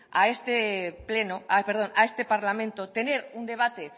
a este parlamento tener un debate